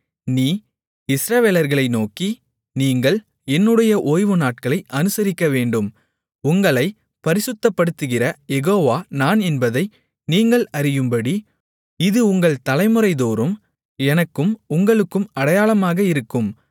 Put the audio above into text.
நீ இஸ்ரவேலர்களை நோக்கி நீங்கள் என்னுடைய ஓய்வுநாட்களை அனுசரிக்க வேண்டும் உங்களைப் பரிசுத்தப்படுத்துகிற யெகோவா நான் என்பதை நீங்கள் அறியும்படி இது உங்கள் தலைமுறைதோறும் எனக்கும் உங்களுக்கும் அடையாளமாக இருக்கும்